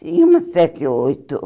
Tinha umas sete ou oito.